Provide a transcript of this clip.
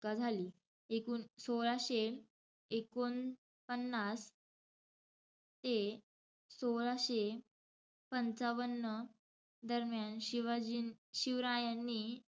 का झाली. सोळाशे एकोणपन्नास ते सोळाशे पंचावन्न दरम्यान शिवाजी~ शिवरायांनी,